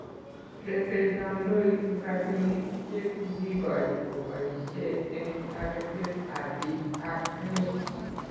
Rebei kandoik rabinik che kikioch kobaishe eng' taretet ab biik ab emet